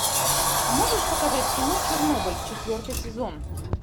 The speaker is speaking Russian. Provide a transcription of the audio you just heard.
можешь показать кино чернобыль четвертый сезон